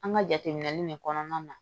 An ka jateminɛli nin kɔnɔna na